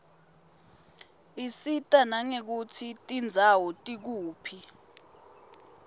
isita nangekutsi tindzawo tikuphi